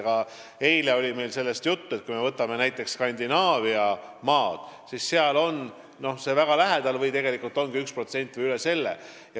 Ka eile oli meil juttu sellest, et näiteks Skandinaaviamaades on see kas väga 1% lähedal või ongi nii palju, isegi üle selle.